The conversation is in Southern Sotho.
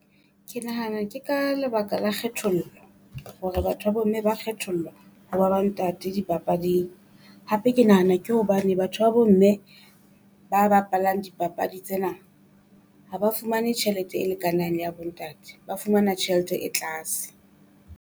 Ke nahana ke ka lebaka la kgethollo hore batho ba bo mme ba kgethollwa ho ba ba ntate dipapading. Hape ke nahana ke hobane batho ba bo mme ba bapalang dipapadi tsena. Ha ba fumane tjhelete e lekanang le ya bo ntate ba fumana tjhelete e tlase.